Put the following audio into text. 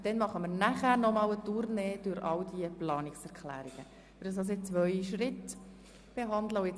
Anschliessend kommen wir zu den Planungserklärungen.